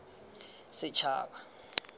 setšhaba